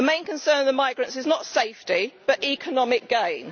The main concern of the migrants is not safety, but economic gain.